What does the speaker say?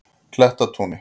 Klettatúni